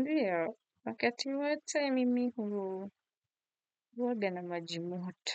Ndiyo, wakati wate mimi hu huoga na maji moto.